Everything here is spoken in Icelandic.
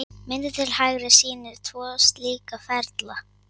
Myndin til hægri sýnir tvo slíka ferla.